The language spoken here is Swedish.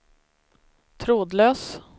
trådlös